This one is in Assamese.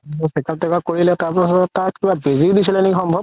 check up তেক আপ কৰিলে তাৰ পিছত তাত বেজি দিছিলে নেকি সম্ভব